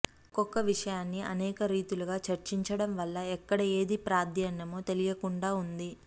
ఒక్కొక్క విషయాన్ని అనేక రీతులుగా చర్చించడం వల్ల ఎక్కడ ఏది ప్రాధాన్యమో తెలియకుండా ఉంది